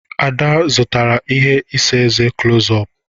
Ada zụtara ihe isa eze clos-ọp